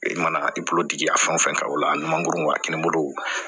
E mana i bolo digi a fɛn o fɛn kan o la a ni mangoro wa kelen bolo